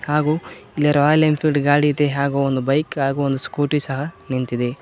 ಹಾಗು ಇಲ್ಲಿ Royal Enfield ಗಾಡಿ ಇದೆ ಹಾಗು ಒಂದು ಬೈಕ್ ಹಾಗು ಒಂದು ಸ್ಕೂಟಿ ಸಹ ನಿಂತಿದೆ.